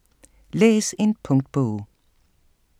Læs en punktbog